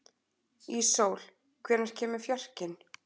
Íssól, hvenær kemur fjarkinn?